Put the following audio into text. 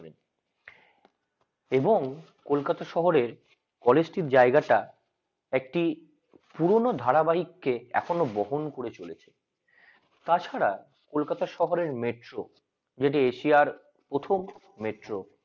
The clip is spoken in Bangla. এবং কলকাতা শহরে কলেজে জায়গাটা একটি পুরানো ধারাবাহিককে এখনো বহন করে চলেছে তাছাড়া কলকাতা শহরের metro যেটি এশিয়ার প্রথম metro